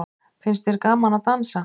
Finnst þér gaman að dansa?